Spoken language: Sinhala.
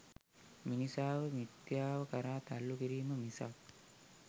මිනිසාව මිථ්‍යාව කරා තල්ලු කිරීම මිසක්